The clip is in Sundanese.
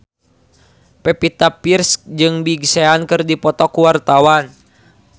Pevita Pearce jeung Big Sean keur dipoto ku wartawan